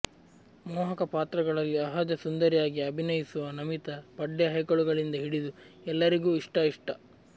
ಮೋಹಕ ಪಾತ್ರಗಳಲ್ಲಿ ಅಹಜ ಸುಂದರಿಯಾಗಿ ಅಭಿನಯಿಸುವ ನಮಿತಾ ಪಡ್ಡೆ ಹೈಕಳುಗಳಿಂದ ಹಿಡಿದು ಎಲ್ಲರಿಗೂ ಇಷ್ಟ ಇಷ್ಟ